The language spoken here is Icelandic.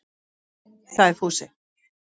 Dóri! sagði Fúsi.